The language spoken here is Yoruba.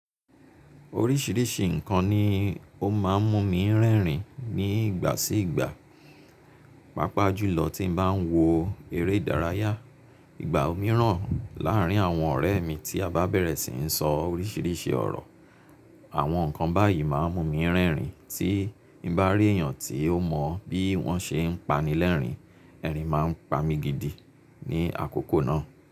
Orisirisi nnkan ni o maa n mu mi rerin ni igba si igba paapaa julo ti n ba n wo ere idaraya. Igba miiran laarin awon ore mi ti ba bere sii so orisirisi oro. Àwọn ǹkan báyìí máa ń mú mi rẹ́rìn-ín tí n bá rí èèyàn tí ó mọ bí wọ́n ṣe ń pani lẹ́rìn-ín, ẹ̀rín máa ń pa mi gidi ní àkókò náà.